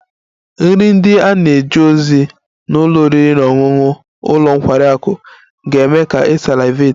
Nri ndị a na-eje ozi na ụlọ oriri na ọṅụṅụ ụlọ nkwari akụ ga-eme ka ị salivate